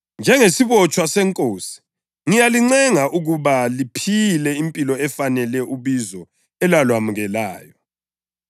Njengesibotshwa seNkosi, ngiyalincenga ukuba liphile impilo efanele ubizo elalwamukelayo.